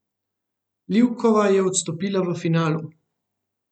Livkova je odstopila v finalu.